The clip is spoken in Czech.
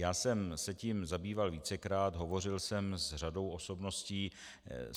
Já jsem se tím zabýval vícekrát, hovořil jsem s řadou osobností.